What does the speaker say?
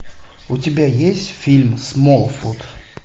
у тебя есть фильм смолфут